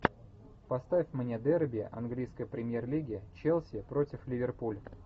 поставь мне дерби английской премьер лиги челси против ливерпуль